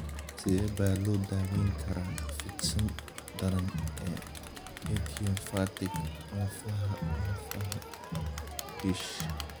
Sidee baa loo daweyn karaa fidsan daran ee idiopathic lafaha lafaha (DISH)?